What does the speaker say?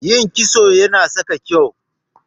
Yin kitso Yana sa ka kyau.